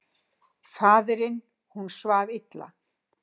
Faðirinn: Hún svaf illa.